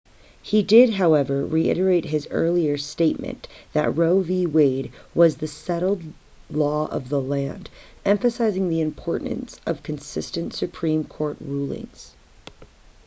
he did however reiterate his earlier statement that roe v wade was the settled law of the land emphasizing the importance of consistent supreme court rulings